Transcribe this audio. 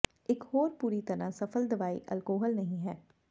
ਇਕ ਹੋਰ ਪੂਰੀ ਤਰ੍ਹਾਂ ਸਫਲ ਦਵਾਈ ਅਲਕੋਹਲ ਨਹੀਂ ਹੈ